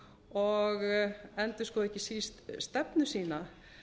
og endurskoði ekki síst stefnu sína